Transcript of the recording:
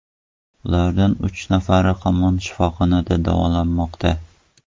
Ulardan uch nafari hamon shifoxonada davolanmoqda.